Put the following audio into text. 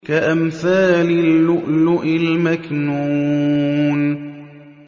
كَأَمْثَالِ اللُّؤْلُؤِ الْمَكْنُونِ